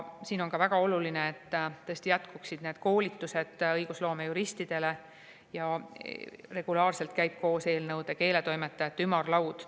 Siin on ka väga oluline, et jätkuksid koolitused õigusloomejuristidele ning regulaarselt käiks koos eelnõude keeletoimetajate ümarlaud.